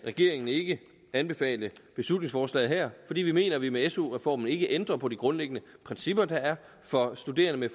regeringen ikke anbefale beslutningsforslaget her fordi vi mener at vi med su reformen ikke ændrer på de grundlæggende principper der er for studerende